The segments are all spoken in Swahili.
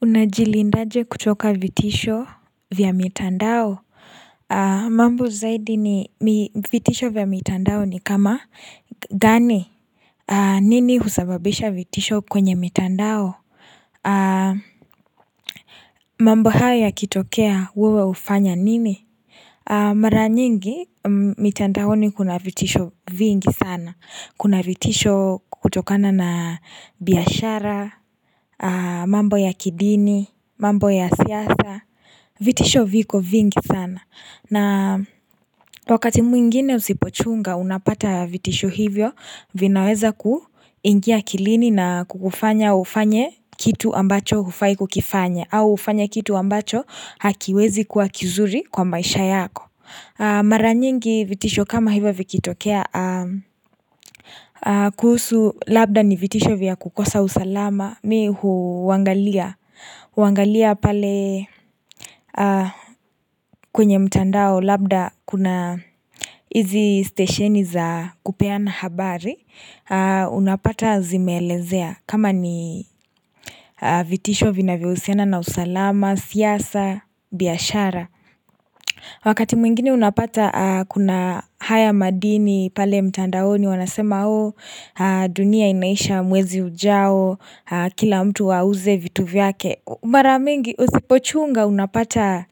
Unajilindaje kuchoka vitisho vya mitandao? Mambo zaidi ni vitisho vya mitandao ni kama gani? Nini husababisha vitisho kwenye mitandao? Mambo hao ya kitokea wewe hufanya nini? Mara nyingi mitandaoni kuna vitisho vingi sana. Kuna vitisho kutokana na biashara, mambo ya kidini, mambo ya siasa. Vitisho viko vingi sana na wakati mwingine usipochunga unapata vitisho hivyo vinaweza kuingia akilini na kukufanya ufanye kitu ambacho hufai kukifanya au ufanye kitu ambacho hakiwezi kuwa kizuri kwa maisha yako. Mara nyingi vitisho kama hivyo vikitokea kuhusu labda ni vitisho vya kukosa usalama mi huangalia huangalia pale kwenye mtandao labda kuna izi stesheni za kupeana habari unapata zime elezea kama ni vitisho vinavyo husiana na usalama siasa biashara Wakati mwingine unapata kuna haya madini pale mtandaoni wanasema dunia inaisha mwezi ujao kila mtu auze vitu vyake. Marabmingi usipochunga unapata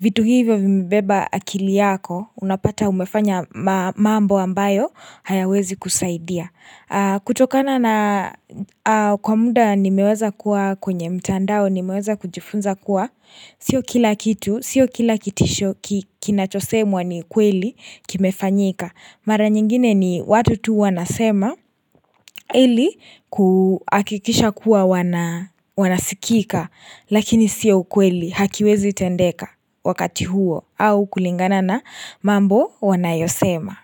vitu hivyo vimebeba akili yako unapata umefanya mambo ambayo hayawezi kusaidia. Kutokana na kwa muda nimeweza kuwa kwenye mtandao nimeweza kujifunza kuwa. Sio kila kitu, sio kila kitisho ki kinachosemwa ni kweli kimefanyika. Mara nyingine ni watu tu wanasema ili kuakikisha kuwa wana wanasikika lakini sio ukweli hakiwezi tendeka wakati huo au kulingana na mambo wanayosema.